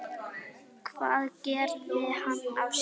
Hvað gerði hann af sér?